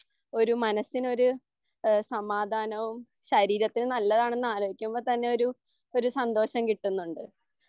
ഒരു മനസ്സിനൊരു സമാദാനവും ശരീരത്തിന് നല്ലതാണെന്ന് ആലോചിക്കുമ്പോൾ തന്നെയൊരു ഒരു സന്തോഷം കിട്ടുന്നുണ്ട്